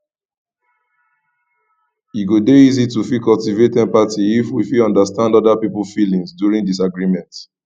e go dey easy to fit cultivate empathy if we fit understand oda pipo feelings during disagreement